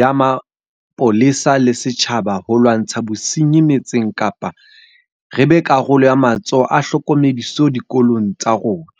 ya mapolesa le setjhaba ho lwantsha bosenyi metseng kapa re be karolo ya matsholo a tlhokomediso dikolong tsa rona.